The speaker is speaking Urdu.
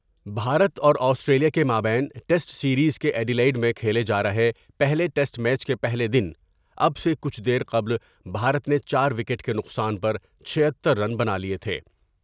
بھارت اور آسٹریلیاء کے مابین ٹیسٹ سیریز کے ایڈیلیڈ میں کھیلے جارہے پہلے ٹیسٹ میچ کے پہلے دن اب سے کچھ دیر قبل بھارت نے چار وکٹ کے نقصان پر چھہتر رن بنالیے تھے ۔